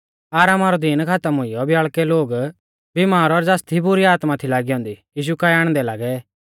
आरामा रौ दीन खातम हुइयौ ब्याल़कै लोग बीमार और ज़ासदी बुरी आत्मा थी लागी औन्दी यीशु काऐ आणदै लागै